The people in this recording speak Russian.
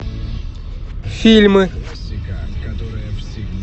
фильмы